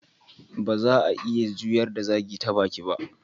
Ba za'a iya juyar da zagi ta baki ba.